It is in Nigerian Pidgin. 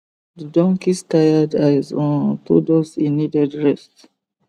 the donkeys tired eyes um told us he needed rest